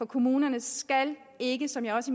kommunerne skal det ikke som jeg også